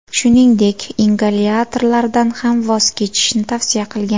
Shuningdek, ingalyatorlardan ham voz kechishni tavsiya qilgan.